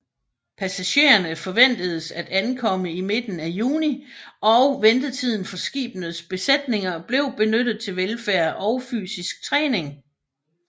Passagererne forventedes at ankomme i midten af juni og ventetiden for skibenes besætninger blev benyttet til velfærd og fysisk træning